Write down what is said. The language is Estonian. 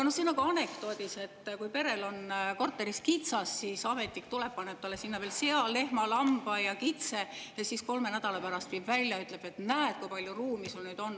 See on nagu anekdoodis, et kui perel on korteris kitsas, siis ametnik tuleb ja paneb neile sinna juurde veel sea, lehma, lamba ja kitse, ja siis kolme nädala pärast viib ära ja ütleb: "Näed, kui palju ruumi teil nüüd on!